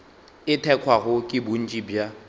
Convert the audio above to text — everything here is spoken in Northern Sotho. e thekgwago ke bontši bja